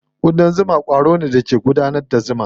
Ƙudan zuma ƙwaro ne da ke gudanar da zuma.